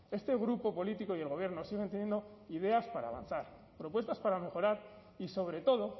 este grupo político y el gobierno siguen teniendo ideas para avanzar propuestas para mejorar y sobre todo